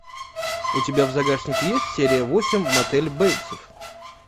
у тебя в загашнике есть серия восемь мотель бейтсов